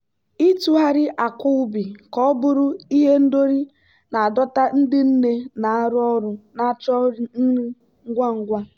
ịtụgharị akwa ubi ka ọ bụrụ ihendori na-adọta ndị nne na-arụ ọrụ na-achọ nri ngwa ngwa.